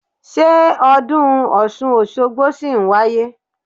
Ṣé ọdún Ọ̀ṣun Òṣogbo ṣì ń wáyé?